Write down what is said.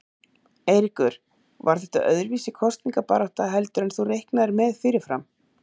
Eiríkur: Var þetta öðruvísi kosningabarátta heldur en þú reiknaðir með fyrirfram?